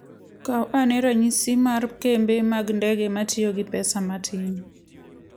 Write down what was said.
Kaw ane ranyisi mar kembe mag ndege matiyo gi pesa matin.